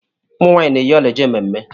Ụmụ nwaanyị na-eyi ọla e je mmemme.